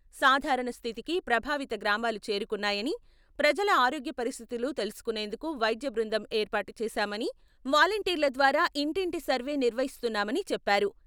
సాధారణ స్థితికి ప్రభావిత గ్రామాలు చేరుకున్నాయని, ప్రజల ఆరోగ్య పరిస్థితులు తెలుసుకునేందుకు వైద్య బృందం ఏర్పాటు చేశామని, వాలంటీర్ల ద్వారా ఇంటింటి సర్వే నిర్వహిస్తున్నామని చెప్పారు.